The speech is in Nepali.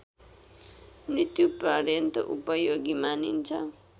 मृत्युपर्यन्त उपयोगी मानिन्छ